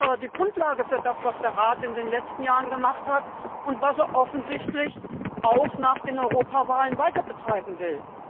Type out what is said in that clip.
Die ist doch die Grundlage für das, was der Rat in den letzten Jahren gemacht hat und was er offensichtlich auch nach der Europawahl weiterbetreiben will.